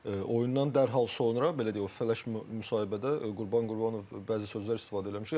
Oyundan dərhal sonra belə deyək o flash müsahibədə Qurban Qurbanov bəzi sözlər istifadə eləmişdi.